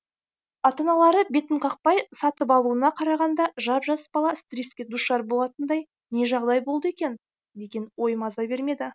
ата аналары бетін қақпай сатып алуына қарағанда жап жас бала стресске душар болатындай не жағдай болды екен деген ой маза бермеді